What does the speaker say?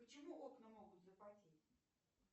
почему окна могут запотеть